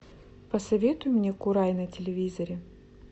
посоветуй мне курай на телевизоре